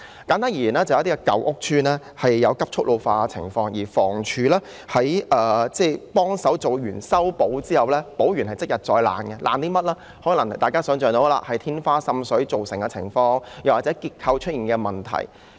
簡單而言，有部分舊屋邨出現急速老化的情況，經房屋署修葺後，竟然即日再有問題，可能是天花再度滲水、結構出現問題等。